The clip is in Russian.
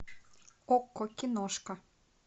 окко киношка